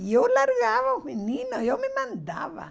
E eu largava os meninos, eu me mandava.